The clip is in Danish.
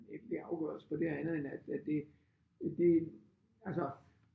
Ja afgørelse på det andet end at at det det altså